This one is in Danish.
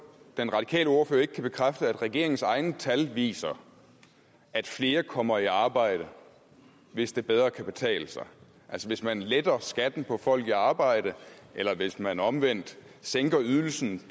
den radikale ordfører ikke kan bekræfte at regeringens egne tal viser at flere kommer i arbejde hvis det bedre kan betale sig altså hvis man letter skatten for folk i arbejde eller hvis man omvendt sænker ydelsen